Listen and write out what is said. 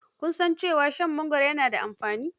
Kun san cewa shan mangoro yana da amfani?